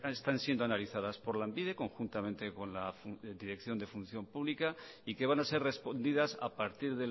están siendo analizadas por lanbide conjuntamente con la dirección de función pública y que van a ser respondidas a partir